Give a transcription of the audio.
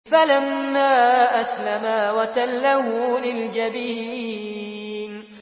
فَلَمَّا أَسْلَمَا وَتَلَّهُ لِلْجَبِينِ